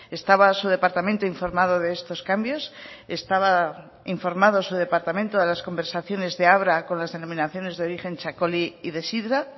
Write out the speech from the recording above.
estaba su departamento informado de estos cambios estaba informado su departamento de las conversaciones de abra con las denominaciones de origen txakoli y de sidra